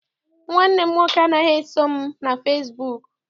Nwanne m nwoke anaghị eso m na fesibuuku.